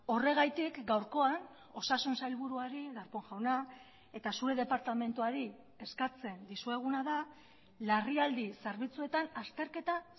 horregatik gaurkoan osasun sailburuari darpón jauna eta zure departamentuari eskatzen dizueguna da larrialdi zerbitzuetan azterketa